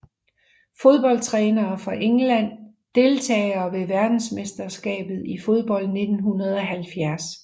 Fodboldtrænere fra England Deltagere ved verdensmesterskabet i fodbold 1970